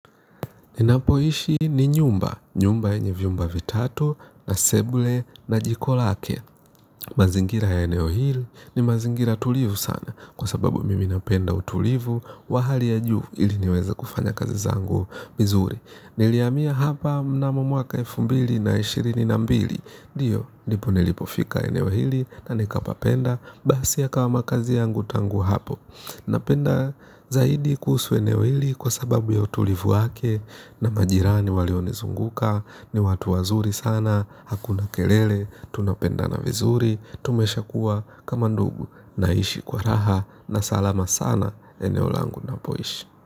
Ninapoishi ni nyumba. Nyumba yenye vyumba vitatu na seble na jiko lake. Mazingira ya eneo hili ni mazingira tulivu sana kwa sababu mimi napenda utulivu wa hali ya juu ili niweza kufanya kazi zangu vizuri. Niliyamiya hapa mnamomuaka elfu mbili na ishirini na mbili. Dio nipo nilipofika eneo hili na nikapapenda basi ya kawa makazi yangu tangu hapo. Napenda zaidi kuhusu eneo hili kwa sababu ya utulivu wake na majirani walionizunguka ni watu wazuri sana, hakuna kelele, tunapendana vizuri, tumesha kuwa kama ndugu naishi kwa raha na salama sana eneo langu na poishi.